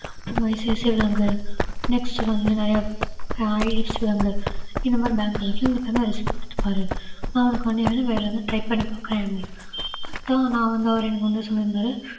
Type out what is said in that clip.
ICICIbank next வந்து நெறையா இந்த மாதிரி bank ல வந்து resume குடுத்துப்பாரு நான் உனக்காணவேண்டி வேரேதுனும் try பண்ணிபாக்குறேன் அப்பிடின்னு சொன்னாரு அதான் நான் வந்து சொல்லிருந்தாரு